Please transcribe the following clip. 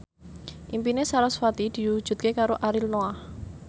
impine sarasvati diwujudke karo Ariel Noah